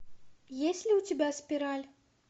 есть ли у тебя спираль